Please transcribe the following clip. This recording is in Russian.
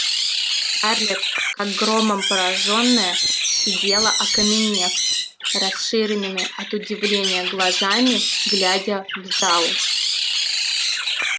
скарлетт как громом поражённая сидела окаменев расширенными от удивления глазами глядя в зал